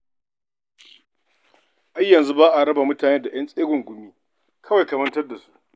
Ai yanzu ba a raba mutane da ƴan tsegungumi, kawai ka mantar da su.